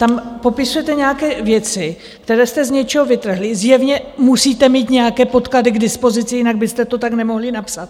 Tam popisujete nějaké věci, které jste z něčeho vytrhli, zjevně musíte mít nějaké podklady k dispozici, jinak byste to tak nemohli napsat.